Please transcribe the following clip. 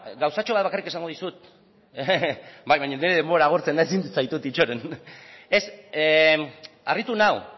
gauzatxo bat bakarrik esango dizut bai baina nire denbora agortzen da ezin zaitut itxaron ez harritu nau